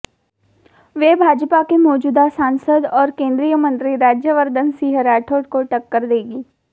वे भाजपा के मौजूदा सांसद और केंद्रीय मंत्री राज्यवर्धन सिंह राठौड़ को टक्कर देंगी